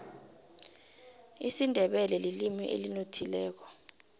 isindebele lilimi elinothileko